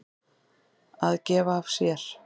Að gefa af sér.